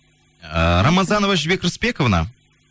ііі рамазанова жібек рысбековна